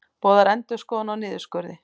Boðar endurskoðun á niðurskurði